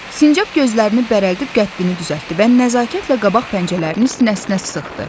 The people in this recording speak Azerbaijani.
Sincab gözlərini bərəldib qəddini düzəltdi və nəzakətlə qabaq pəncələrini sinəsinə sıxdı.